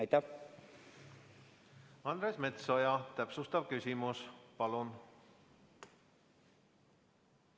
Andres Metsoja, täpsustav küsimus, palun!